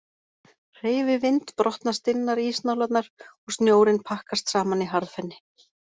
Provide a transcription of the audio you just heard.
Hreyfi vind brotna stinnar ísnálarnar og snjórinn pakkast saman í harðfenni.